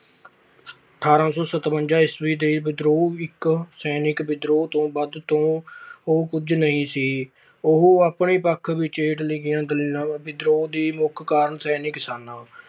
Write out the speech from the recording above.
ਅਠਾਰਾਂ ਸੌ ਸਤਵੰਜਾ ਈਸਵਾ ਦਾ ਵਿਦਰੋਹ ਇੱਕ ਸੈਨਿਕ ਵਿਦਰੋਹ ਤੋਂ ਵੱਧ ਹੋਰ ਕੁਝ ਨਹੀਂ ਸੀ। ਉਹ ਆਪਣੇ ਪੱਖ ਵਿੱਚ ਹੇਠ ਲਿਖੀਆਂ ਗੱਲਾ। ਵਿਦਰੋਹ ਦਾ ਮੁੱਖ ਕਾਰਨ ਸੈਨਿਕ ਸਨ।